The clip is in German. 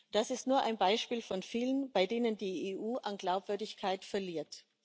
Das ist nur ein Beispiel von vielen, bei denen die EU an Glaubwürdigkeit verliert.